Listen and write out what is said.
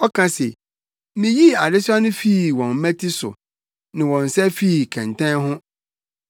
Ɔka se, “Miyii adesoa no fii wɔn mmati so, ne wɔn nsa fii kɛntɛn ho.